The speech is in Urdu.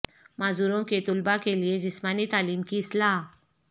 معذوروں کے طلباء کے لئے جسمانی تعلیم کی اصلاح